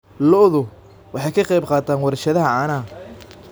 Lo�du waxa ay ka qayb-qaataan warshadaha caanaha.